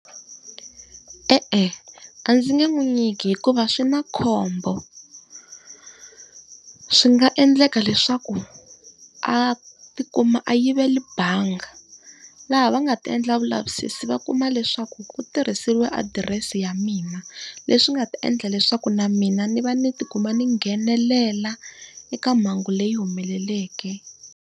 E-e a ndzi nge n'wi nyiki hikuva swi na khombo. Swi nga endleka leswaku a ti kuma a yivele bangi, laha va nga ti endla vulavisisi va kuma leswaku ku tirhisiwa adirese ya mina. Leswi nga ta endla leswaku na mina ndzi va ndzi ti kuma ndzi nghenelela eka mhangu leyi humeleleke.